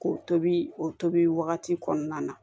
K'o tobi o tobi wagati kɔnɔna na